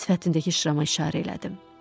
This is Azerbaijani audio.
Sifətindəki şırama işarə elədim.